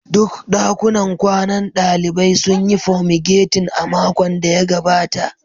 Duk dakunan kwanan dalibai sun yi fomigatin a makon da ya gabata